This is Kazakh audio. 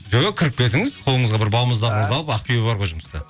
жоқ кіріп кетіңіз қолыңызға бір балмұздағыңызды алып ақбибі бар ғой жұмыста